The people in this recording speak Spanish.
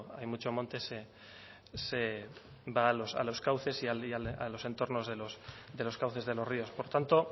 hay mucho monte se va a los cauces y a los entornos de los cauces de los ríos por tanto